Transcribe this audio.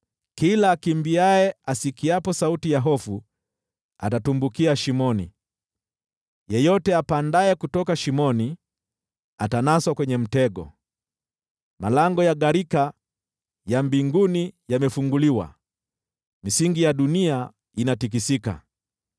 Kila akimbiaye asikiapo sauti ya hofu atatumbukia shimoni, naye yeyote apandaye kutoka shimoni, atanaswa kwenye mtego. Malango ya gharika ya mbinguni yamefunguliwa, misingi ya dunia inatikisika.